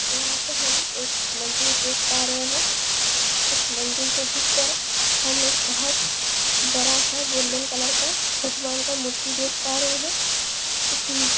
यहाँ पे हम एक मंदिर देख पा रहे है उस मंदिर के भीतर हम एक बहोत बड़ा-सा गोल्डन कलर का भगवान का मूर्ति देख पा रहे है उसमें --